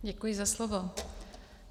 Děkuji za slovo.